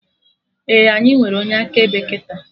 Ee, anyị nwere onye akaebe kịta